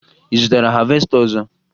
Ị zụtara havesta ọzọ?